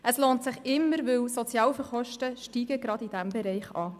Es lohnt sich immer, denn die Sozialhilfekosten steigen gerade in diesem Bereich an.